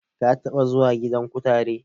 Ka taɓa zuwa gidan kutare?